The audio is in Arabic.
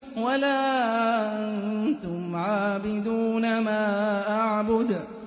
وَلَا أَنتُمْ عَابِدُونَ مَا أَعْبُدُ